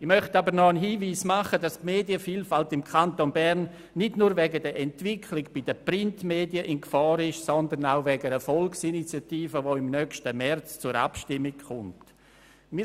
Ich möchte aber auch noch darauf hinweisen, dass die Medienvielfalt im Kanton Bern nicht nur aufgrund der Entwicklung bei den Printmedien in Gefahr ist, sondern auch wegen einer Volksinitiative, die im nächsten März zur Abstimmung kommen wird.